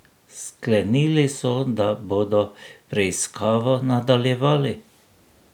Sklenili so, da bodo preiskavo nadaljevali.